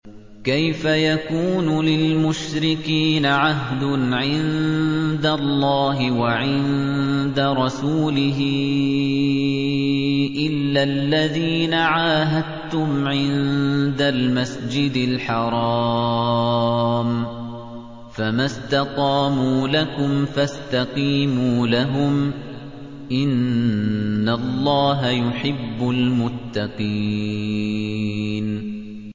كَيْفَ يَكُونُ لِلْمُشْرِكِينَ عَهْدٌ عِندَ اللَّهِ وَعِندَ رَسُولِهِ إِلَّا الَّذِينَ عَاهَدتُّمْ عِندَ الْمَسْجِدِ الْحَرَامِ ۖ فَمَا اسْتَقَامُوا لَكُمْ فَاسْتَقِيمُوا لَهُمْ ۚ إِنَّ اللَّهَ يُحِبُّ الْمُتَّقِينَ